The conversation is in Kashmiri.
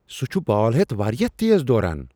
سُہ چھ بال ہیتھ واریاہ تیز دوران!